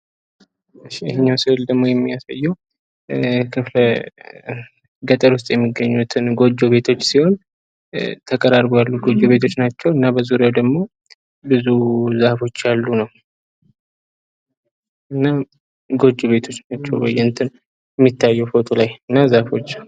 እሽ ይሄኛው ስእል ደግሞ የሚያሳየው ገጠር ውስጥ የሚገኙትን ጎጆ ቤት ሲሆን። ተቀራርበው ያሉ ጎጆ ቤቶች ናቸው። እና በዙሪያው ደግሞ ብዙ ዛፎች አሉ ነው። እና ጎጆ ቤቶች እና ዛፍች ናቸው የሚታዪት ምስሉ ላይ።